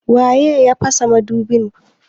waye ya pasa madubi?